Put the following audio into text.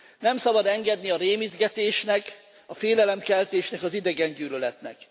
Nem szabad engedni a rémisztgetésnek, a félelemkeltésnek, az idegen gyűlöletnek.